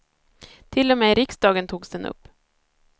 Till och med i riksdagen togs den upp.